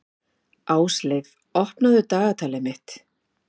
Ásleif, opnaðu dagatalið mitt.